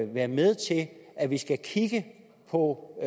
være med til at vi skal kigge på